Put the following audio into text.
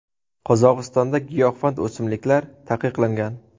Qozog‘istonda giyohvand o‘simliklar taqiqlangan.